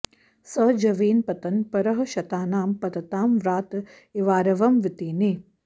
स जवेन पतन् परःशतानां पततां व्रात इवारवं वितेने